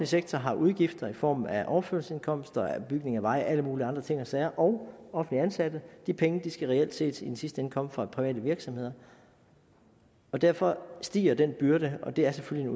sektor har udgifter i form af overførselsindkomster bygning af veje og alle andre mulige andre ting og sager og offentlige ansatte de penge skal reelt set i den sidste ende komme fra private virksomheder og derfor stiger den byrde og det er selvfølgelig